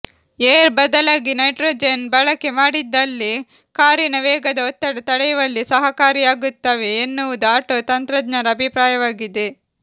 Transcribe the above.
air ಬದಲಾಗಿ nitrogen ಬಳಕೆ ಮಾಡಿದಲ್ಲಿ ಕಾರಿನ ವೇಗದ ಒತ್ತಡ ತಡೆಯುವಲ್ಲಿ ಸಹಕಾರಿಯಾಗುತ್ತವೆ ಎನ್ನುವುದು ಆಟೋ ತಂತ್ರಜ್ಞರ ಅಭಿಪ್ರಾಯವಾಗಿದೆ